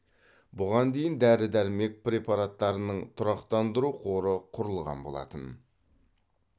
бұған дейін дәрі дәрмек препараттарының тұрақтандыру қоры құрылған болатын